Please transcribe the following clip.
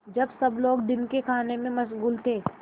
जब सब लोग दिन के खाने में मशगूल थे